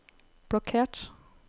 blokkert